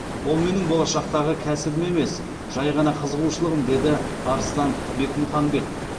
ол менің болашақтағы кәсібім емес жай ғана қызығушылығым деді арыстан бекмұханбет